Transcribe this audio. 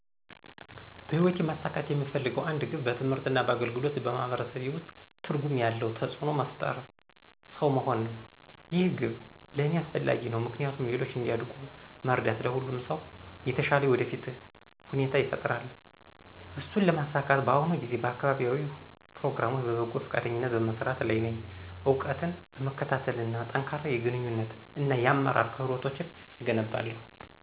በህይወቴ ማሳካት የምፈልገው አንድ ግብ በትምህርት እና በአገልግሎት በማህበረሰቤ ውስጥ ትርጉም ያለው ተጽእኖ መፍጠርሰው መሆን ነው። ይህ ግብ ለእኔ አስፈላጊ ነው ምክንያቱም ሌሎች እንዲያድጉ መርዳት ለሁሉም ሰው የተሻለ የወደፊት ሁኔታ ይፈጥራል። እሱን ለማሳካት በአሁኑ ጊዜ በአካባቢያዊ ፕሮግራሞች በበጎ ፈቃደኝነት በመስራት ላይ ነኝ፣ እውቀትን በመከታተል እና ጠንካራ የግንኙነት እና የአመራር ክህሎቶችን እገነባለሁ።